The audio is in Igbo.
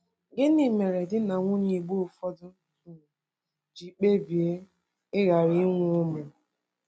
Gịnị mere di na nwunye Igbo ụfọdụ um ji kpebie ịghara inwe ụmụ?